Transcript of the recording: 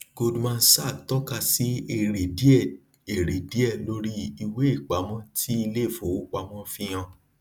goldman sach tọka sí èrè díẹ èrè díẹ lórí ìwéìpamọ tí iléìfowópamọ ń fi hàn